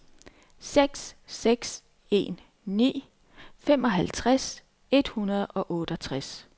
seks seks en ni femoghalvtreds et hundrede og otteogtres